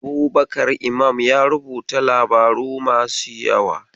Abubakar Imam ya rubuta labaru masu yawa.